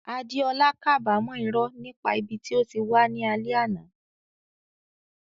Adeola kábàámọ̀ irọ́ nípa ibi tí ó wà ní alẹ́ àná.